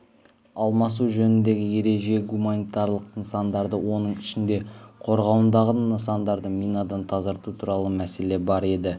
алмасу жөніндегі ереже гуманитарлық нысандарды оның ішінде қорғауындағы нысандарды минадан тазарту туралы мәселе бар деді